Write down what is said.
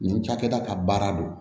Nin cakɛda ka baara don